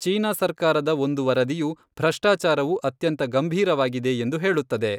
China ಸರ್ಕಾರದ ಒಂದು ವರದಿಯು ಭ್ರಷ್ಟಾಚಾರವು "ಅತ್ಯಂತ ಗಂಭೀರವಾಗಿದೆ" ಎಂದು ಹೇಳುತ್ತದೆ.